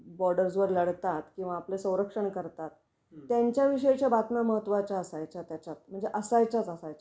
Borders वर लढतात किंवा आपले स्वरंक्षण करतात, त्यांच्या विषयीच्या बातम्या महत्वाच्या असायच्या त्याच्यात. म्हणजे असायच्याच असायच्या